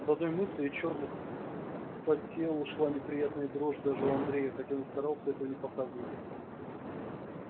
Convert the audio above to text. от одной мысли чёрных по телу шла неприятная дрожь даже у андрея хотя он и старался этого не показывать